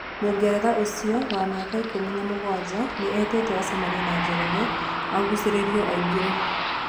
Mũngeretha ũcio, wa miaka ikũmi na mũgwaja, nĩ etĩto acamanie na Njoroge agucĩrĩrio aingĩre.